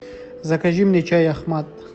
закажи мне чай ахмат